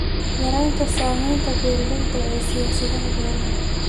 Yaraynta saamaynta beeralayda ee siyaasadaha beeraha.